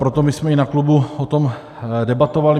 Proto my jsme i na klubu o tom debatovali.